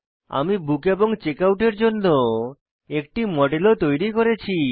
আমি বুক এবং চেকআউট এর জন্য একটি মডেল ও তৈরী করেছি